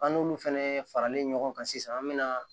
An n'olu fɛnɛ faralen ɲɔgɔn kan sisan an be na